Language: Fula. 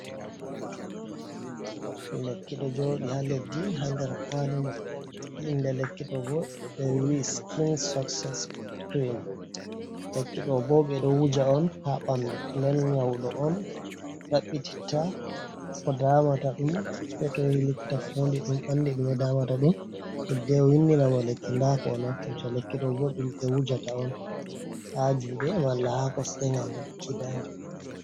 Lekki ɗo jooɗi ha leddi ha nder kwalimum, inde lekku ɗo bo mewi sikin sukses kirim, lekki ɗo bo ɗeɗo wuja on ɓandu, den ŋyaɗo on ɗaitita ko damataɗum, sai to o yahi ha likita fodi ɗum anda ko damatamo hidde windinamo lkki nda ko o naftirta, lekki mai ɗo wuja ha jungo malla ha kosɗe gam heɓuki dama.